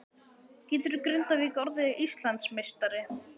Getur Grindavík orðið Íslandsmeistari?